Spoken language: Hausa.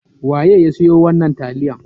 Waye ya siyo wannan taliyan?